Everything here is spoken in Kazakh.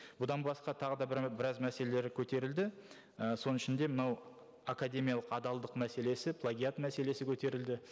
бұдан басқа тағы да бір біраз мәселелер көтерілді ы соның ішінде мынау академиялық адалдық мәселесі плагиат мәселесі көтерілді